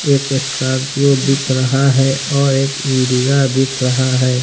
एक स्कॉर्पियो दिख रहा है और एक इंडिगा दिख रहा है।